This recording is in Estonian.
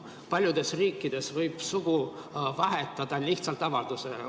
Paljudes riikides võib sugu vahetada lihtsalt avaldusega.